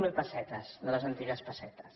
zero pessetes de les antigues pessetes